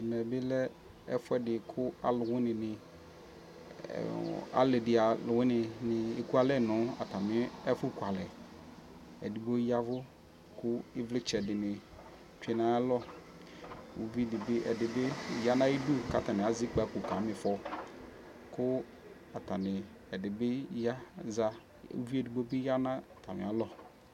Ɛmɛ bi lɛ ɛfuɛdi kʋ alʋwini ni, ali di alʋwini ni eku alɛ nʋ atami ɛfukualɛ Ɛdigbo yavʋ kʋ ivlitsɛ di ni tsue n'ayalɔ Uvidi bi, ɛdi bi ya nʋ ayidu kʋ atani azɛ ikpako (ɛzɔkpako) kama ifɔ kʋ atani, ɛdi bi ya, aza Uvi edigbo bi ya nʋ atami alɔ